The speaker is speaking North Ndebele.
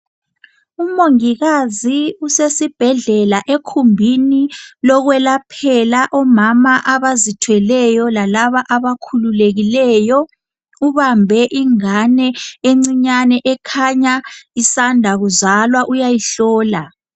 Umongikazi usesibhedlela ekhumbini lokwelaphela omama abazithweleyo lalaba abakhululekileyo . Ubambe ingane encinyane ekhanya isanda kuzalwa, uyayihlola.